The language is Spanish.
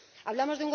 Hablamos